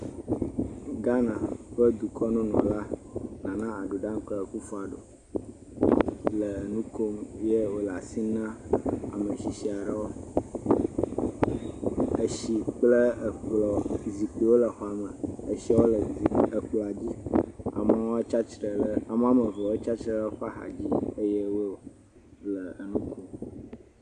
Ghana ƒe dukɔnunɔla. Nana Addo Dankwa Akufo Addo le nu kom eye wole asi nam ame tsitsi aɖewo. Etsi kple ekplɔ. Zikpuiwo le xɔa me. Etsiwo le ekplɔa dzi. Amewo tsi atsitre ɖe emɔa nu, eɖewo tsi atsitre eƒe axa dzi eye wo le enu ɖum.